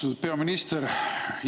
Austatud peaminister!